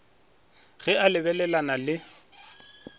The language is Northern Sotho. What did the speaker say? ga le a lebelelana le